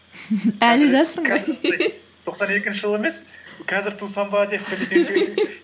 тоқсан екінші жылы емес қазір тусам ба деп